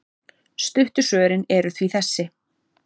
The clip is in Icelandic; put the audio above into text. Stuttu svörin eru því þessi.